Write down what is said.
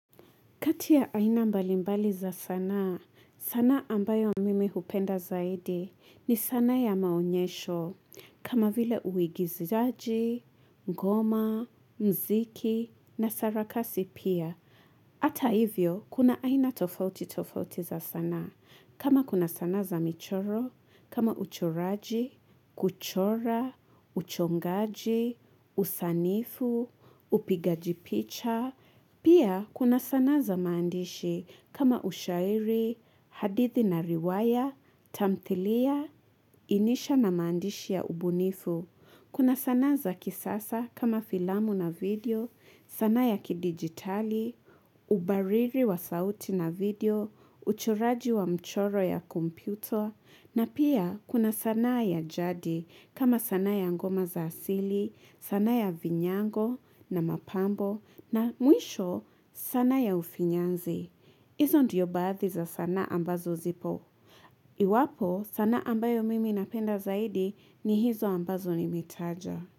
Kati ya aina mbalimbali za sanaa, sanaa ambayo mimi hupenda zaidi ni sanaa ya maonyesho kama vile uigizaji, ngoma, mziki na sarakasi pia. Hata hivyo, kuna aina tofauti tofauti za sanaa kama kuna sanaa za michoro, kama uchoraji, kuchora, uchongaji, usanifu, upigajipicha. Pia kuna sanaa za mandishi kama ushairi, hadithi na riwaya, tamthilia, inisha na mandishi ya ubunifu. Kuna sanaa za kisasa kama filamu na video, sana ya kidigitali, ubariri wa sauti na video, uchuraji wa mchoro ya kompyuta, na pia kuna sanaa ya jadi kama sana ya ngoma za asili, sana ya vinyango na mapambo, na muisho sana ya ufinyanzi. Hizo ndiyo baathi za sanaa ambazo zipo. Iwapo sanaa ambayo mimi napenda zaidi ni hizo ambazo nimetaja.